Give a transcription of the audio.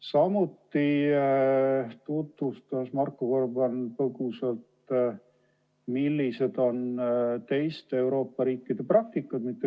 Samuti tutvustas Marko Gorban põgusalt, milline on mõne teise Euroopa riigi praktika.